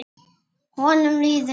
Honum líður vel.